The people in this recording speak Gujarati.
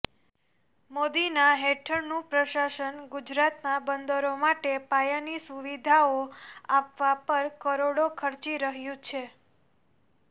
મોદીના હેઠળનું પ્રશાસન ગુજરાતમાં બંદરો માટે પાયાની સુવિધાઓ આપવા પર કરોડો ખર્ચી રહ્યું છે